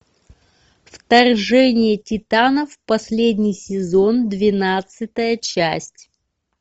вторжение титанов последний сезон двенадцатая часть